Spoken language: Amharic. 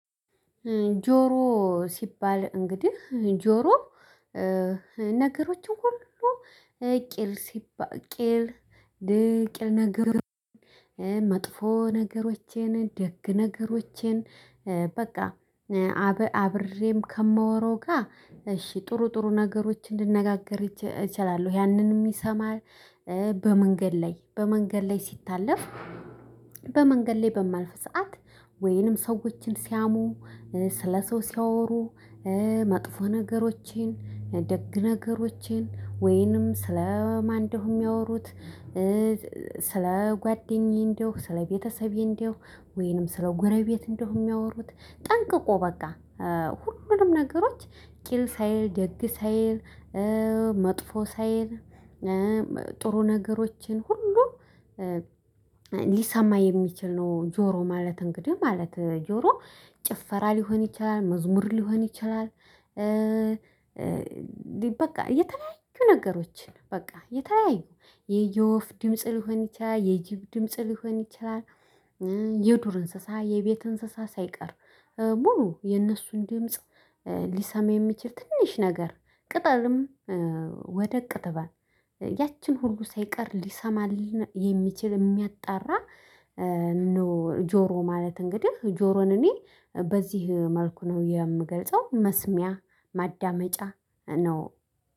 ጆሮ ሲባል እንግዲህ ጆሮ ነገሮችን ሁሉ ቂል ሲባል ቂል ቂል ነገሮችን መጥፎ ነገሮችን ደግ ነገሮችን በቃ አበ አብሬም ከማወራው ጋር እሺ ጥሩ ጥሩ ነገሮችን ልነጋገር እችላለው ያንንም ይሰማል። በመንገድ ላይ በመንገድ ላይ ሲታለፍ። በመንገድ ላይ በማልፍ ሰዓት ወይንም ሰዎችን ሲያሙ ስለ ሰው ሲያወሩ። መጥፎ ነገሮቼን ደግ ነገሮቼን ወይንም ስለ ማንደሁ የሚያወሩት። ስለ ጓደኛዬ እንደሆንኩ ስለ ቤተሰቤ እንደሆንኩ ወይንም ስለ ጎረቤት እንደው የሚያወሩት ጠንቅቆ በቃ። ሁሉንም ነገሮች ቂል ሳይል ደግ ሳይል መጥፎ ሳይል ጥሩ ነገሮችን ሁሉ ሊሰማ የሚችል ነው። ጆሮ ማለት እንግዲህ ማለት ጆሮ ጭፈራ ሊሆን ይችላል መዝሙር ሊሆን ይችላል። በቃ የተለያዩ ነገሮችን በቃ የተለያዩ የየወፍ ድምጽ ሊሆን ይችላል የጅብ ድምጽ ሊሆን ይችላል። የዱር እንስሳ የቤት እንስሳ ሳይቀር ሙሉ የነሱን ድምጽ። ሊሰማ የሚችል ትንሽ ነገር ቅጠልም ወደቅ ትበል ያቺን ሁሉ ሳይቀር ሊሰማልን የሚችል የሚያጣራ ነው። ጆሮ ማለት እንግዲህ ጆሮን እኔ በዚህ መልኩ ነው የምገልጸው መስሚያ ማዳመጫ ነው።